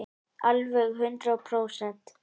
Alveg hundrað prósent.